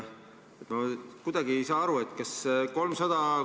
Kuidagi ei saa aru, kas 300 ...